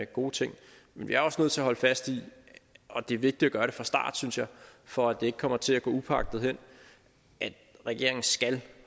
gode ting men vi er også nødt til at holde fast i og det er vigtigt at gøre det fra start synes jeg for at det ikke kommer til at gå upåagtet hen at regeringen skal